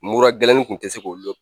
Mura gɛlɛnin kun tɛ se k'o